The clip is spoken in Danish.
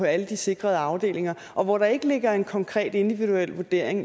alle de sikrede afdelinger og hvor der ikke ligger en konkret individuel vurdering